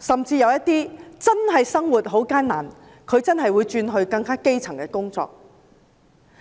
甚至有些人真的會因為生活艱難而轉任更基層的工作。